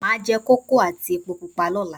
A jẹ kókò àti èpo pupa lọ́la